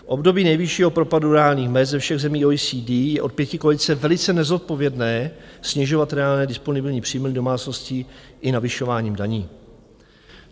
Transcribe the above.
V období nejvyššího propadu reálných mezd ze všech zemí OECD je od pětikoalice velice nezodpovědné snižovat reálné disponibilní příjmy domácností i navyšováním daní.